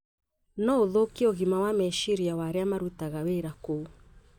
no gũthũkie ũgima wa meciria wa arĩa marutaga wĩra kou.